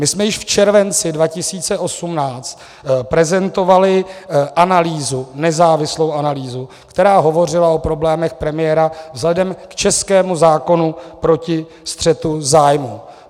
My jsme již v červenci 2018 prezentovali analýzu, nezávislou analýzu, která hovořila o problémech premiéra vzhledem k českému zákonu proti střetu zájmů.